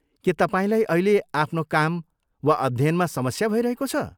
के तपाईँलाई अहिले आफ्नो काम वा अध्ययनमा समस्या भइरहेको छ?